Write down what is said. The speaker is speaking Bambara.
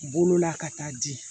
Bolola ka taa di